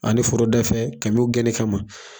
Ani foroda fɛ kamiw y'u gɛnni kama